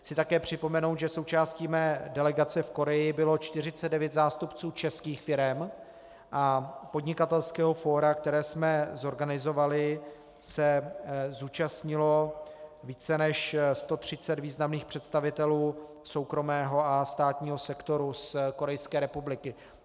Chci také připomenout, že součástí mé delegace v Korei bylo 49 zástupců českých firem a podnikatelského fóra, které jsme zorganizovali, se zúčastnilo více než 130 významných představitelů soukromého a státního sektoru z Korejské republiky.